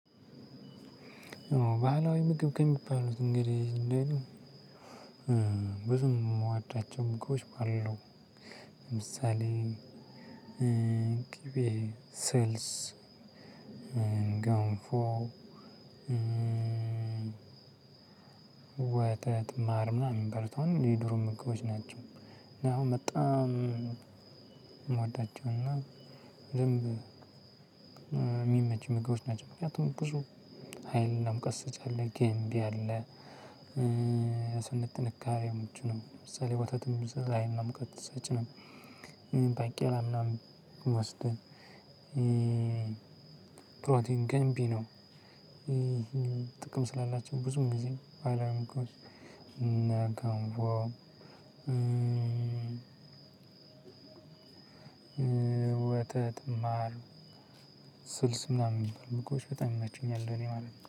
ባህላዊ ምግብ ከሚባሉት እንግዲህ እንዳይሉ ብዙ ነው የምወዳቸው ምግቦች አሉ። ለምሳሌ ቅቤ ስልስ ገንፎ። ወተት ማር ምናምን እሚባሉት አሁን የድሮ ምግቦች ናቸው። እና አሁን በጣም ምወዳቸውና ዝም የሚመች ምግቦች ናቸው። ምክንያቱም ብዙ ሀይልና ሙቀት ሰጭ አለ ገንቢ አለ። ስነ ጥንካሬው ምቹ ነው። ለምሳሌ ወተትም ለሀይልና ሙቀት ሰጪ ነው። ባቄላ ምናምን ወስደን። ፕሮቲን ገንቢ ነው። ጥቅም ስላላቸው ብዙም ጊዜ አላም እኮ እና ገንፎ። ወተት ማር ስልስ ምናምን ሚባሉ ምግቦች በጣም ይመቹኛል እኔ ማለት ነው